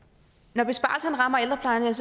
når besparelserne rammer ældreplejen